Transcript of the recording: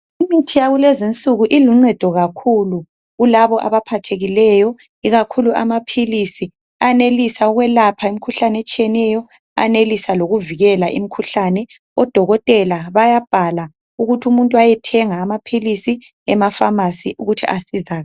Imithi yakulezi usuku iluncedo kakhulu kulabo abaphathekileyo ikakhulu amaphilisi eyenelisa ukwelapha imikhuhlane etshiyeneyo ayenelisa lokuvikela imikhuhlane, odokotela bayabhala ukuthi umuntu ayethenga amaphilisi emafamasi ukuthi asizakale.